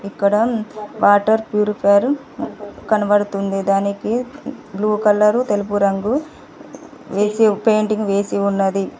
ఇక్కడ water purifier కనబడుతుంది దానికి బ్లూ కలరు తెలుపు రంగు వేసే పెయింటింగ్ వేసి ఉన్నది.